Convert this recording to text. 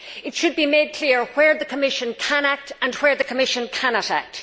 It should be made clear where the Commission can act and where the Commission cannot act.